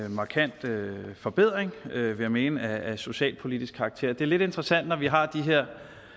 én markant forbedring vil jeg mene af socialpolitisk karakter det er lidt interessant når vi har de her